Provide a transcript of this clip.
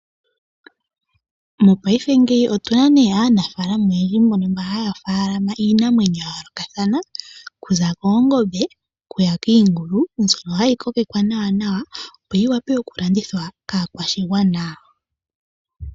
Mopaife ngeyi otuna nee aanafalama oyendji mbono haya faalama iinamwenyo ya yooloka thana okuza koongombe, okuya kiingula, mbyono hayi kokekwa nawa opo yi vule oku landithwa kaa kwashigwana.